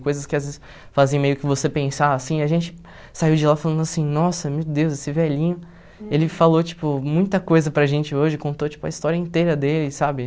Coisas que às vezes fazem meio que você pensar, assim, e a gente saiu de lá falando assim, nossa, meu Deus, esse velhinho... Ele falou, tipo, muita coisa para gente hoje, contou, tipo, a história inteira dele, sabe?